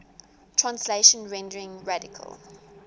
translation rendering radical